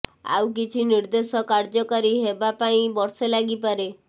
ଆଉ କିଛି ନିର୍ଦ୍ଦେଶ କାର୍ଯ୍ୟକାରୀ ହେବା ପାଇଁ ବର୍ଷେ ଲାଗିପାରେ